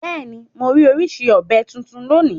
Bẹ́ẹ̀ni morí orísìí ọ̀bẹ́ titun lónìí